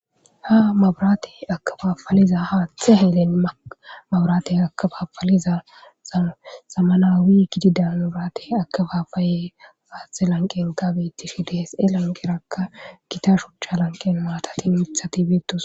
Hamaburaate akabafaliza haattxe helen mabraate akabafaliza zama samanawi gidi danraate akabafaye faatxe lanqenkabettishi dise lanqerakka gita shuchcha lanqen maatatin mithati beettos.